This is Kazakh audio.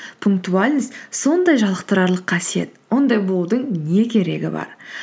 пунктуальность сондай жалықтырарлық қасиет ондай болудың не керегі бар